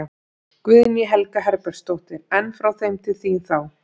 Guðný Helga Herbertsdóttir: En frá þeim til þín, þá?